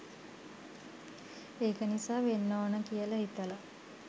ඒක නිසා වෙන්න ඕනි කියල හිතල